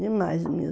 Demais mesmo.